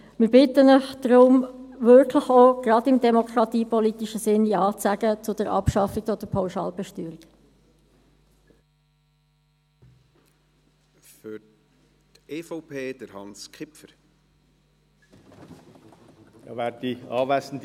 Wir bitten Sie deshalb, eben gerade auch im demokratiepolitischen Sinne, Ja zu sagen zur Abschaffung der Pauschalbesteuerung.